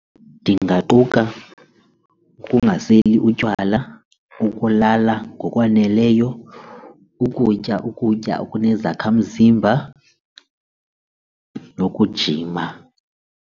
Ndingaquka ukungaseli utywala, ukulala ngokwaneleyo, ukutya ukutya okunezakhamzimba nokujima.